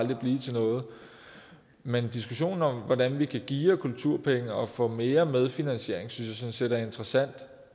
vil blive til noget men en diskussion om hvordan vi kan geare kulturpenge og få mere medfinansiering synes jeg sådan set er interessant